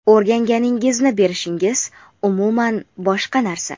o‘rganganingizni berishingiz umuman boshqa narsa.